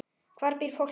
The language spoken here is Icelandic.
Hvar býr fólkið?